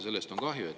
Sellest on kahju.